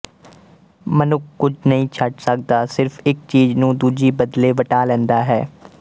ਮਨੁੱਖ ਕੁਝ ਨਹੀਂ ਛੱਡ ਸਕਦਾ ਸਿਰਫ ਇੱਕ ਚੀਜ਼ ਨੂੰ ਦੂਜੀ ਬਦਲੇ ਵਟਾ ਲੈਂਦਾ ਹੈ